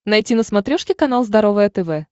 найти на смотрешке канал здоровое тв